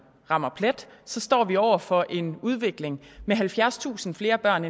rammer plet står vi år over for en udvikling med halvfjerdstusind flere børn